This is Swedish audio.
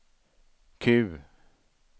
Q